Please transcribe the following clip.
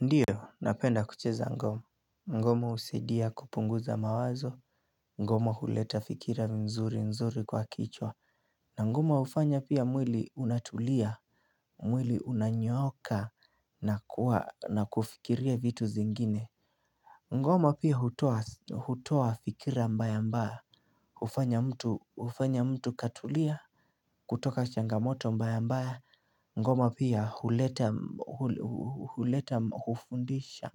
Ndiyo napenda kucheza ngoma ngoma husaidia kupunguza mawazo ngoma huleta fikira nzuri nzuri kwa kichwa. Na ngoma hufanya pia mwili unatulia. Mwili unanyooka na kuwa na kufikiria vitu zingine. Ngoma pia hutoa fikira mbaya mbaya hufanya mtu hUfanya mtu katulia. Kutoka changamoto mbaya mbaya ngoma pia huleta hufundisha.